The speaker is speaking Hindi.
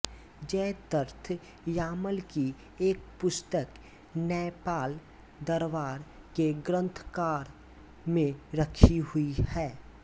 जयद्रथ यामल की एक पुस्तक नैपाल दरबार के ग्रंथगार में रखी हुई है